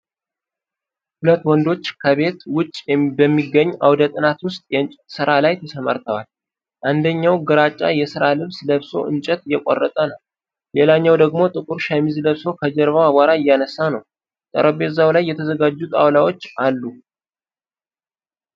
ሁለት ወንዶች ከቤት ውጭ በሚገኝ አውደ ጥናት ውስጥ የእንጨት ሥራ ላይ ተሰማርተዋል። አንደኛው ግራጫ የሥራ ልብስ ለብሶ እንጨት እየቆረጠ ነው። ሌላው ደግሞ ጥቁር ሸሚዝ ለብሶ ከጀርባው አቧራ እያነሳ ነው። ጠረጴዛው ላይ የተዘጋጁ ጣውላዎች አሉ።